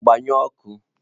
Gbanyi ọkụ!